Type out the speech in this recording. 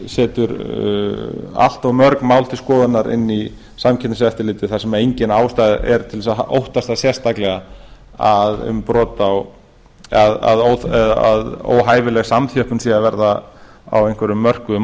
setur allt of mörg mál til skoðunar inn í samkeppniseftirlitið þar sem engin ástæða er til þess að óttast sérstaklega að óhæfileg samþjöppun sé að verða á einhverjum mörkuðum á